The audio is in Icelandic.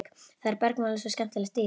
Það bergmálaði svo skemmtilega í þeim.